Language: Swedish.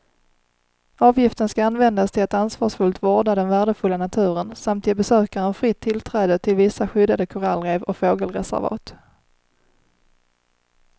Avgiften ska användas till att ansvarsfullt vårda den värdefulla naturen samt ge besökaren fritt tillträde till vissa skyddade korallrev och fågelreservat.